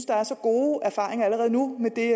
der er så gode erfaringer allerede nu med det